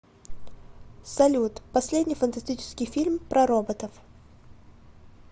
салют последний фантастический фильм про роботов